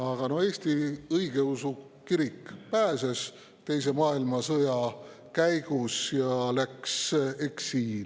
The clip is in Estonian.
Aga Eesti õigeusu kirik teise maailmasõja käigus pääses ja läks eksiili.